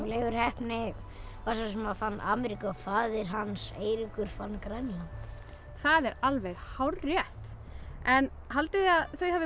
Leifur heppni var sá sem fann Ameríku og faðir hans Eiríkur fann Grænland það er alveg hárrétt en haldið þið að þau hafi